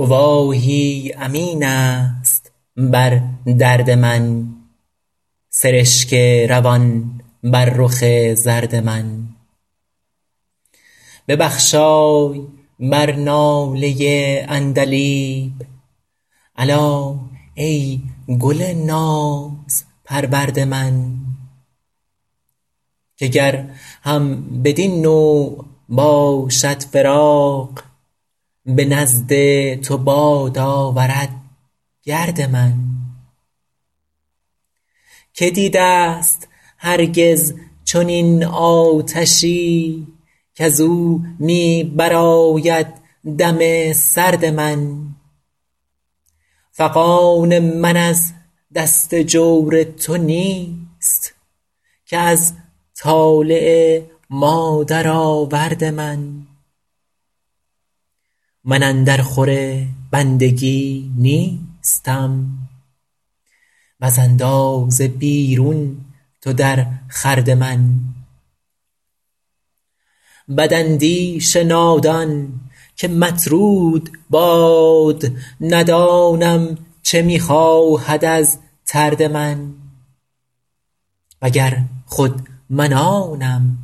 گواهی امین است بر درد من سرشک روان بر رخ زرد من ببخشای بر ناله عندلیب الا ای گل نازپرورد من که گر هم بدین نوع باشد فراق به نزد تو باد آورد گرد من که دیده ست هرگز چنین آتشی کز او می برآید دم سرد من فغان من از دست جور تو نیست که از طالع مادرآورد من من اندر خور بندگی نیستم وز اندازه بیرون تو در خورد من بداندیش نادان که مطرود باد ندانم چه می خواهد از طرد من و گر خود من آنم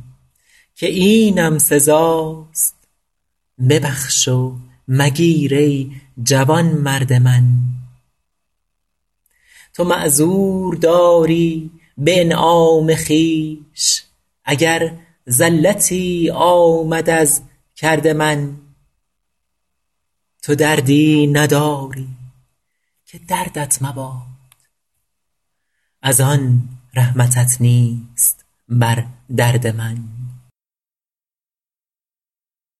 که اینم سزاست ببخش و مگیر ای جوانمرد من تو معذور داری به انعام خویش اگر زلتی آمد از کرد من تو دردی نداری که دردت مباد از آن رحمتت نیست بر درد من